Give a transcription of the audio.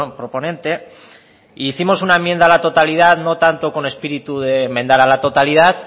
proponente e hicimos una enmienda a la totalidad no tanto con espíritu de enmendar a la totalidad